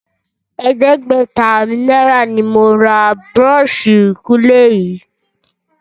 Ẹ̀ẹ́dẹ́gbẹ̀ta náírà ni mo ra búrọ́ọ̀ṣì ìkunlé yìí